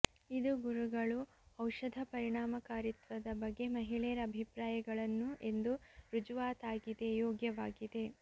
ಇದು ಗುರುಗಳು ಔಷಧ ಪರಿಣಾಮಕಾರಿತ್ವದ ಬಗ್ಗೆ ಮಹಿಳೆಯರ ಅಭಿಪ್ರಾಯಗಳನ್ನು ಎಂದು ರುಜುವಾತಾಗಿದೆ ಯೋಗ್ಯವಾಗಿದೆ